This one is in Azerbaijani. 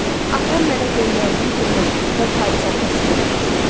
Atam mənə göndərdiyi bir məktubda bu hadisəni təsvir eləmişdi.